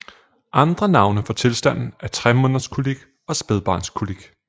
Andre navne for tilstanden er tremånederskolik og spædbarnskolik